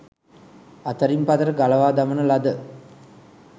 අතරින් පතර ගලවා දමන ලද